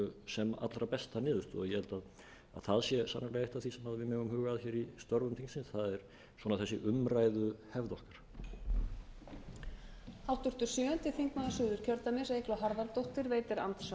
sem allra besta niðurstöðu og ég held að það sé sannarlega eitt af því sem við megum huga að í störfum þingsins það er þessi umræðuhefð okkar